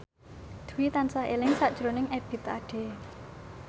Dwi tansah eling sakjroning Ebith Ade